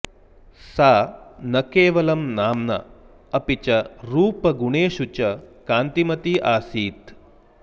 सा न केवलं नाम्ना अपि च रूपगुणेषु च कान्तिमती आसीत्